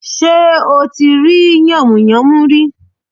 Sé ò tí rí yànmùyánmú rí